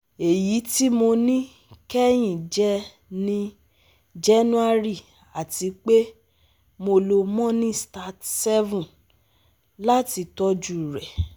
eyi ti mo ni kẹhin je ni January atipe mo lo monistat 7 lati tọju re